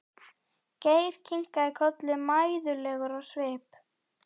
Geir kinkaði kolli mæðulegur á svip.